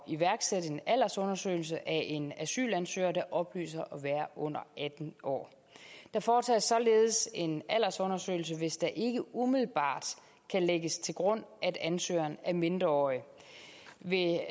iværksætte en aldersundersøgelse af en asylansøger der oplyser at være under atten år der foretages således en aldersundersøgelse hvis der ikke umiddelbart kan lægges til grund at ansøgeren er mindreårig ved